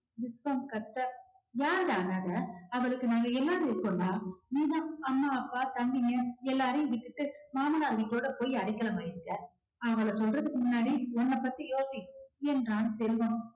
விஸ்வம் கத்த யாருடா அனாதை அவளுக்கு நாங்க எல்லாரும் இருக்கோம்டா நீதான் அம்மா அப்பா தம்பின்னு எல்லாரையும் விட்டுட்டு மாமனார் வீட்டோட போயி அடைக்கலம் ஆயிட்ட. அவள சொல்றதுக்கு முன்னாடி உன்ன பத்தி யோசி என்றான் செல்வம்